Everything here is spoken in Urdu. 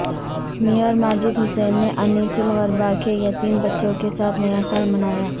میئر ماجد حسین نے انیس الغربا کے یتیم بچوں کے ساتھ نیا سال منایا